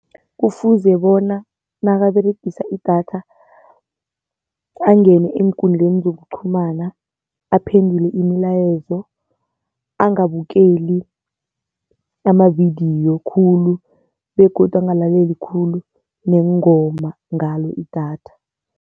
Kufuze bona nakaberegisa idatha angene eenkundleni zokuqhumana aphendule imilayezo, angabukeli amavidiyo khulu begodu angalaleli khulu neengoma ngalo idatha.